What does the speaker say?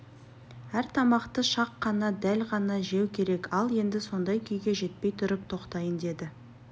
әр тамақты шақ қана дәл ғана жеу керек ал енді сондай күйге жетпей тұрып тоқтайын деді